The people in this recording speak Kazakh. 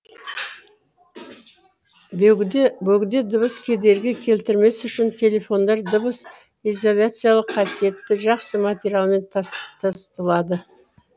бөгде дыбыс кедергі келтірмес үшін телефондар дыбыс изоляциялық қасиеті жақсы материалмен тысталады